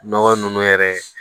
Nɔgɔ nunnu yɛrɛ ye